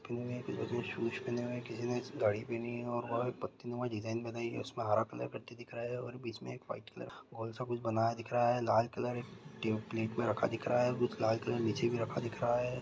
किसी शूज पहने हुए हैं किसी ने घड़ी पहनी है और पत्तीनुमा का डिज़ाइन बनाई है उसमें हरा कलर पट्टी दिख रहा है और बीच में एक व्हाइट कलर का गोल सा कुछ बनाया दिख रहा है लाल कलर प्लेट में रखा दिख रहा है लाल कलर नीचे भी रखा दिख रहा है।